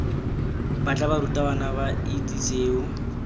batla barutabana ba itse seo